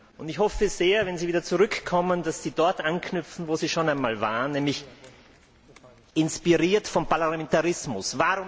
Und ich hoffe sehr, wenn Sie wieder zurückkommen, dass Sie dort anknüpfen, wo Sie schon einmal waren, nämlich inspiriert vom Parlamentarismus.